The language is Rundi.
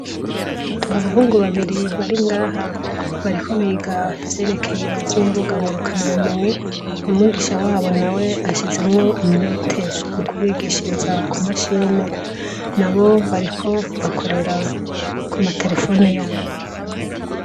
Abahungu babiri bari ngaha bariko biga ibijanye ngurukanabumenyi umwigisha wabo nawe ashizemwo umwete mu kubigishiriza ku mashini nabo nbariko bakorera ku materefone yabo.